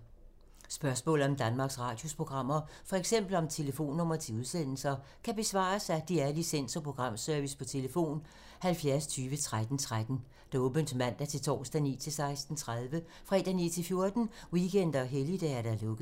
Spørgsmål om Danmarks Radios programmer, f.eks. om telefonnumre til udsendelser, kan besvares af DR Licens- og Programservice: tlf. 70 20 13 13, åbent mandag-torsdag 9.00-16.30, fredag 9.00-14.00, weekender og helligdage: lukket.